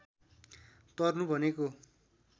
तर्नु भनेको